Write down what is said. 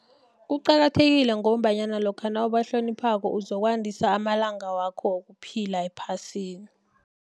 Kuqakathekile ngombanyana lokha nawubahloniphako uzokwandisa amalanga wakho wokuphila ephasini.